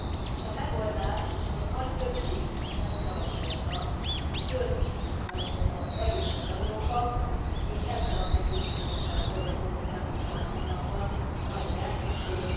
És a megoldás és a nagy többség is ezt javasolta a több Európa, az erősebb Európa, és ezzel a meggyőződéssel dolgozott az elmúlt hat hónapban a magyar elnökség.